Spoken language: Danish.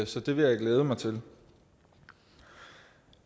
så det vil jeg glæde mig til